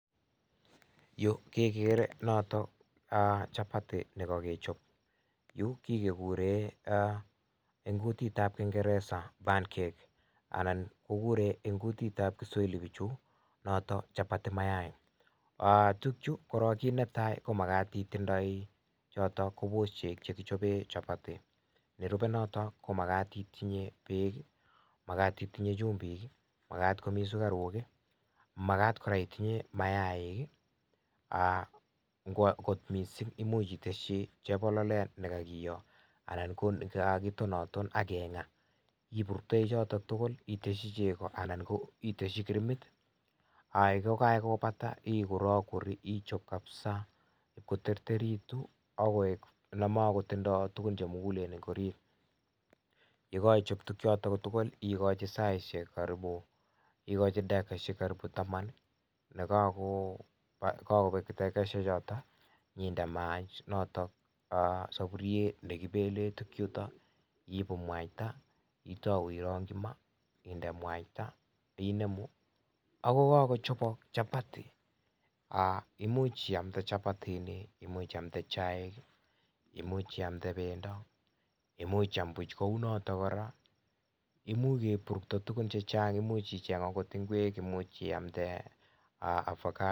Yu kegere notok chapati nekakechop yu kegure eng' kutit ab kingeresa pancake anan kegure eng' kutit ab pichu notok chapati mayai tukchu korok kiit netai ko makat itindoi chotok: ko pushek chekichapee chapati, nerupe notok ko makat I tinye peek, makat itinye chumbik, makat komii sukaruk, makat koraaitinye nayaik, ngwo akot mising' komuch iteshi chepiloldet nekagiyo anan ko cho kagitonaton akeng'aa, ipurtei chotok tugul akiteshi chego anan ko iteshi krimit ay kogakopata, ikurakur ichap kapsa koterteritu akoy ne makotindoy tugun che mugulen eng' orit, ye koi chop tukuchotok ko tugul ikochi saishek karibu,,, ikochi dakikaishek karibu taman nekagopek dakikaishek chotok nyinde mayaik notok sapuriet nekipele tukchutok, yiipu mwaita, itau irang'ji maat, inde mwaita inemu ako kagochapok chapati, i'much iamde chapatini, i'much iamde chaik, i'much iamde bendo, i'much iayam puch kou notok koraa, imuch kepurto tugun chechang' i'much icheng akot ngwek, i'much iamde avocado.